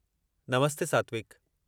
नमस्ते सात्विक!